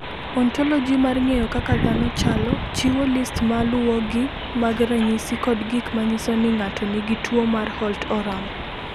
"Ontoloji mar ng’eyo kaka dhano chalo, chiwo list ma luwogi mag ranyisi kod gik ma nyiso ni ng’ato nigi tuwo mar Holt Oram."